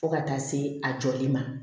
Fo ka taa se a jɔli ma